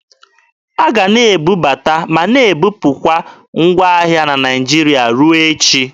A ga a na-ebubata ma na-ebupụkwa ngwa ahịa na Naịjirịa ruo echi.